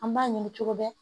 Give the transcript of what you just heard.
An b'a ɲini cogo bɛɛ